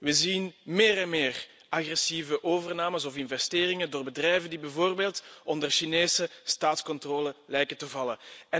We zien meer en meer agressieve overnames of investeringen door bedrijven die bijvoorbeeld onder Chinese staatscontrole lijken te vallen.